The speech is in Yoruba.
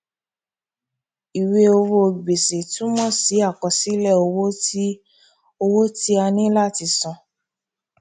ìwé owó gbèsè túmọ sí àkọsílẹ owó tí owó tí a ní láti san